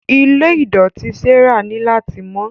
Ilé idọti Sarah ni lati mọ.